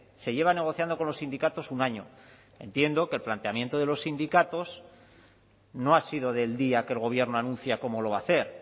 se lleva negociando con los sindicatos un año entiendo que el planteamiento de los sindicatos no ha sido del día que el gobierno anuncia cómo lo va a hacer